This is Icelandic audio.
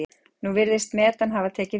Nú virðist metan hafa tekið við.